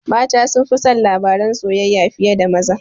Mata sunfi son labaran soyayya fiye da maza